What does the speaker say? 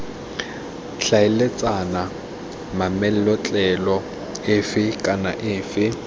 tlhaeletsana mametlelelo efe kana efe